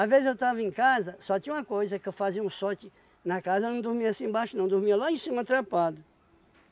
vezes eu tava em casa, só tinha uma coisa que eu fazia um sorte na casa, eu não dormia assim embaixo não, dormia lá em cima trepado.